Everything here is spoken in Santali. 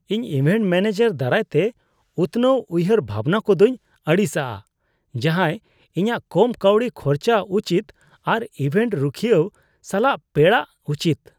ᱤᱧ ᱤᱵᱷᱮᱱᱴ ᱢᱚᱱᱮᱡᱟᱨ ᱫᱟᱨᱟᱭᱛᱮ ᱩᱛᱱᱟᱹᱣᱟᱱ ᱩᱭᱦᱟᱹᱨ ᱵᱷᱟᱵᱱᱟ ᱠᱚᱫᱚᱧ ᱟᱹᱲᱤᱥᱟᱜᱼᱟ ᱡᱟᱦᱟᱸᱭ ᱤᱧᱟᱹᱜ ᱠᱚᱢ ᱠᱟᱹᱣᱰᱤ ᱠᱷᱚᱨᱪᱟ ᱩᱪᱤᱛ ᱟᱨ ᱤᱵᱷᱮᱱᱴ ᱨᱩᱠᱷᱤᱹᱭᱟᱹᱣ ᱥᱟᱞᱟᱜ ᱯᱮᱲᱟᱜ ᱩᱪᱤᱛ ᱾